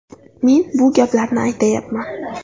Men bu gaplarni aytayapman.